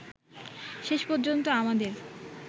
শেষ পর্যন্ত আমাদের